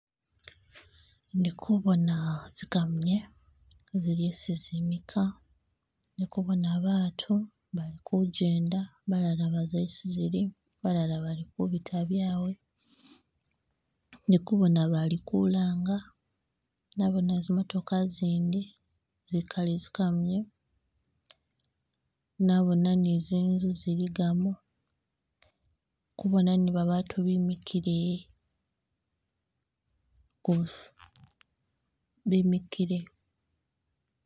Indi kubona zikamunye zili hesi zimika ndi kubona baatu bali kujenda balala baza hesi zili balala bali kubita byawe ndikubona bali kulanga nabona zimootoka zindi zikali zi kamuye nabona ni zinzu ziligamu nkubona ni babatu bimikle bimikile.